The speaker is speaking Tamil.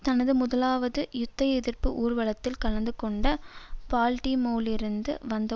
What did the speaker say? தனது முதலாவது யுத்த எதிர்ப்பு ஊர்வலத்தில் கலந்து கொண்ட பால்டிமோரிலிருந்து வந்த